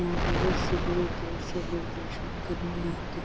यहां बहोत से दूर-दूर से लोग दर्शन करने आते --